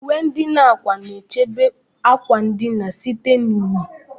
Uwe ndina ákwà na-echebe akwa ndina site na unyi.